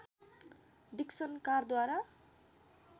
Dixon कारद्वारा